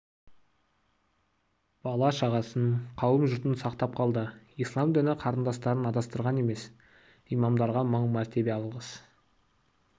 бала-шағасын қауым-жұртын сақтап қалды ислам дін қарындастарын адастырған емес имамдарға мың мәртебе алғыс